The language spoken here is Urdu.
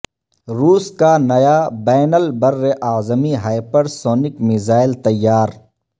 روس کا نیا بین البراعظمی ہاہپر سونک میزائل تیار